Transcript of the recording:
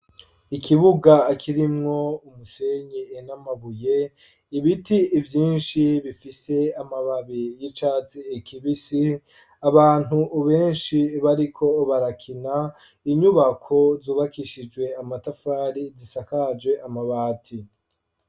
Ikibuga, kirimwo umusenyi, n'amabuye, ibiti vyinshi, bifise amababi y'icatsi kibisi, abantu benshi, bariko barakina, inyubako zubakishijwe amatafari, zisakaje amabati.